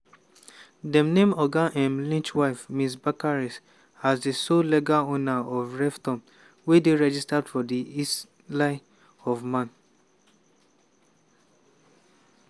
dem name oga um lynch wife ms bacares as di sole legal owner of revtom wey dey registered for di isle of man.